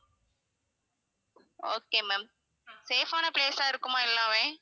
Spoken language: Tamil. okay ma'am safe ஆன place ஆ இருக்குமா எல்லாமே